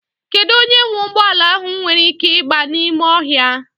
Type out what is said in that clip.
Kedụ onye nwe ụgbọala ahụ nwere ị́ké ịgba n'ime ọhịa?